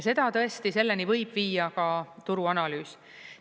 Ja tõesti, selleni võib viia ka turuanalüüs.